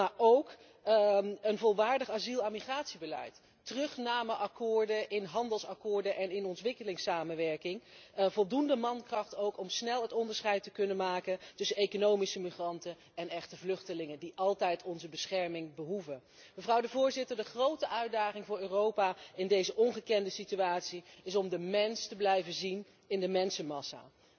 Maar er is ook behoefte aan een volwaardig asiel en migratiebeleid, aan terugnameakkoorden in handelsovereenkomsten en in ontwikkelingssamenwerking, en aan voldoende mankracht om snel het onderscheid te kunnen maken tussen economische migranten en echte vluchtelingen, die altijd onze bescherming behoeven. Mevrouw de Voorzitter, de grote uitdaging voor Europa in deze ongekende situatie is om de mens te blijven zien in de mensenmassa.